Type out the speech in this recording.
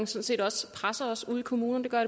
set også presser os ude i kommunerne det gør